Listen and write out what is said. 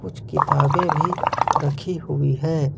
कुछ किताबें भी रखी हुई हैं।